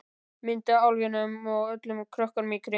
Mynd af álfinum og öllum krökkunum í kring.